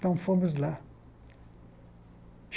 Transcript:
Então fomos lá.